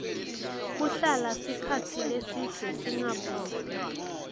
sigweme kuhlala sikhatsi lesibze singabu